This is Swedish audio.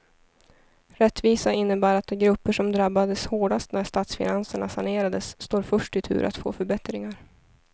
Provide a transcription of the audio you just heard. Rättvisa innebär att de grupper som drabbades hårdast när statsfinanserna sanerades står först i tur att få förbättringar.